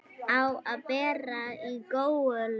Á að bera í góulok.